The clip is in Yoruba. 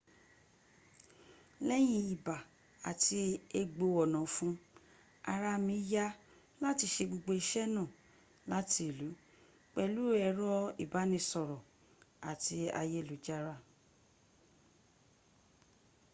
leyin iba ati egbo onafun araa mi ya lati se gbogbo ise naa lati ilu pelu ero ibanisoro ati ayelujara